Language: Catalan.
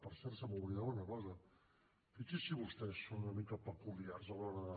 per cert se m’oblidava una cosa fixin se vostès són una mica peculiars a l’hora de